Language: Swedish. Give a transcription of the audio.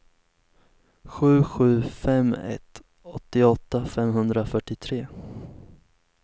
sju sju fem ett åttioåtta femhundrafyrtiotre